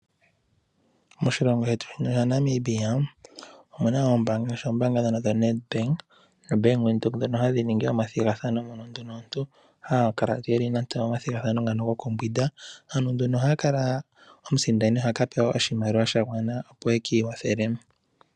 Moshilongo shetu shaNamibia omuna oombaanga ,ngaashi ombaamba dhono dho NEDBANK noBank Windhoek dhono hadhi ningi omathigathano mono omuntu ha vulu oku kala nando omomathigathano ngono gokumbwinda aasindani ohaa pewa ihe oshimaliwa shontumba opo ye ki ikwathele.